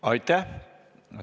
Aitäh!